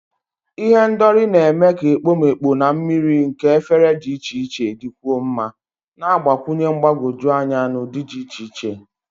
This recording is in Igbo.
Ihendori na-eme ka ekpomeekpo na mmiri nke efere dị iche iche dịkwuo mma, na-agbakwụnye mgbagwoju anya na ụdị dị iche iche.